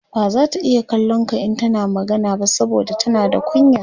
bazata iya kallon ka in tana magana ba saboda tana da kunya